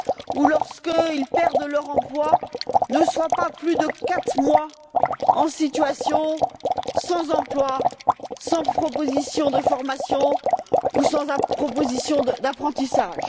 ou lorsqu'ils perdent leur emploi, ne soient pas plus de quatre mois sans emploi, sans proposition de formation ou sans proposition d'apprentissage.